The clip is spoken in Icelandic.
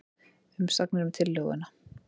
Umsagnir um tillöguna